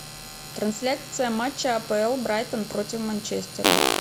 трансляция матча апл брайтон против манчестера